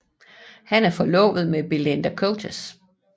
Han er forlovet med Belinda Coates